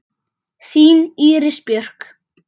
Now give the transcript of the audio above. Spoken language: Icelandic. Þín Íris Björk.